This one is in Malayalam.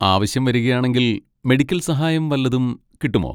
ആവശ്യം വരികയാണെങ്കിൽ മെഡിക്കൽ സഹായം വല്ലതും കിട്ടുമോ?